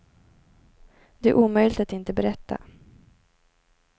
Det är omöjligt att inte berätta.